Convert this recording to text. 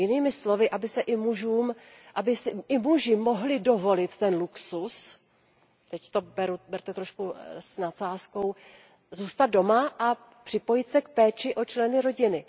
Jinými slovy, aby si i muži mohli dovolit ten luxus, teď to berte trochu s nadsázkou, zůstat doma a připojit se k péči o členy rodiny.